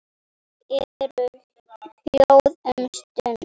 Þau eru hljóð um stund.